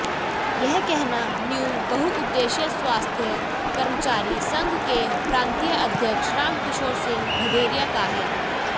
यह कहना न्यू बहुउद्देश्य स्वास्थ कर्मचारी संघ के प्रांतीय अध्यक्ष रामकिशोर सिहं भदैरिया का है